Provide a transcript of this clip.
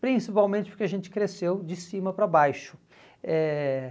Principalmente porque a gente cresceu de cima para baixo. Eh